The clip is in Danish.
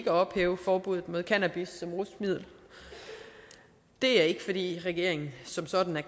at ophæve forbuddet mod cannabis som rusmiddel det er ikke fordi regeringen som sådan er